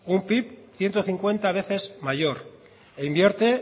un pib ciento cincuenta veces mayor invierte